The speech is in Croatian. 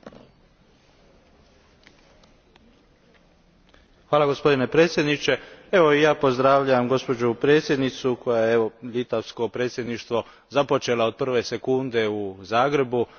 Gospodine predsjedniče, i ja pozdravljam gospođu predsjednicu koja je litavsko predsjedništvo započela od prve sekunde u Zagrebu prilikom ulaska Hrvatske u Europsku uniju.